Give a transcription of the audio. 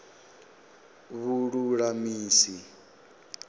vhululamisi